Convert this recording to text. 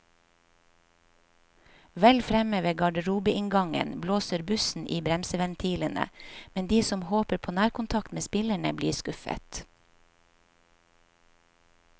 Vel fremme ved garderobeinngangen blåser bussen i bremseventilene, men de som håper på nærkontakt med spillerne, blir skuffet.